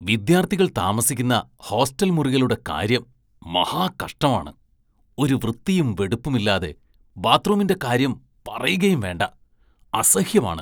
വിദ്യാര്‍ഥികള്‍ താമസിക്കുന്ന ഹോസ്റ്റല്‍ മുറികളുടെ കാര്യം മഹാകഷ്ടമാണ്, ഒരു വൃത്തിയും വെടുപ്പുമില്ലാതെ, ബാത്ത്‌റൂമിന്റെ കാര്യം പറയുകയും വേണ്ട, അസഹ്യമാണ്.